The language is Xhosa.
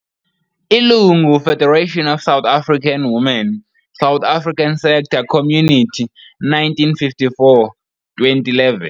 Ilungu- Federation of South African Women, South Africa Sector - Community, 1954-2011.